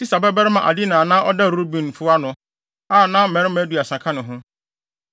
Sisa babarima Adina a na ɔda Rubenfo ano, a na mmarima aduasa ka ne ho;